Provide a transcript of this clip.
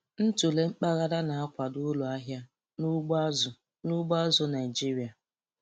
Ntụle mpaghara na-akwado uru ahịa n'ugbo azụ̀ n'ugbo azụ̀ Naịjiria.